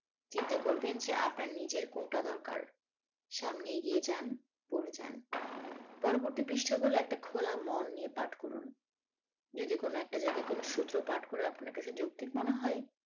চিন্তা করবেন যে আপনার নিজের কোনটা দরকার সামনে এগিয়ে যান পড়ে যান পরবর্তি পৃষ্ঠা গুলো একটা খোলা মন নিয়ে পাঠ করুন যদি কোনো একটা জাগায় কোনো সূত্র পাঠ করে আপনার কাছে যৌক্তিক মনে হয়